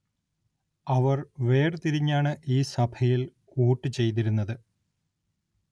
അവർ വേർ തിരിഞ്ഞാണ് ഈ സഭയിൽ വോട്ടു ചെയ്തിരുന്നത്.